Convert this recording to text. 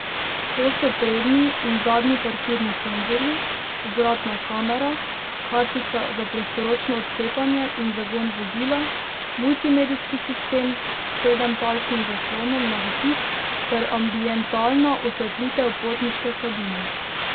To so prednji in zadnji parkirni senzorji, vzvratna kamera, kartica za prostoročno odklepanje in zagon vozila, multimedijski sistem s sedempalčnim zaslonom na dotik ter ambientalna osvetlitev potniške kabine.